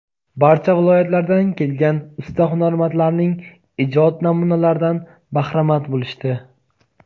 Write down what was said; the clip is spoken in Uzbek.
barcha viloyatlardan kelgan usta-hunarmandlarning ijod namunalaridan bahramand bo‘lishdi.